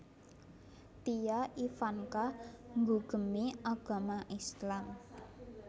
Tia Ivanka nggugemi agama Islam